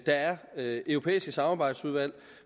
der er europæiske samarbejdsudvalg